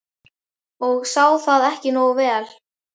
ég sá það ekki nógu vel.